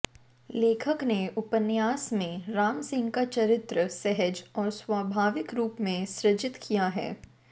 लेखक ने उपन्यास में रामसिंह का चरित्र सहज और स्वाभाविक रूप में सृजित किया है